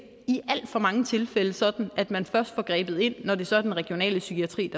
i alt for mange tilfælde sådan at man først får grebet ind når det så er den regionale psykiatri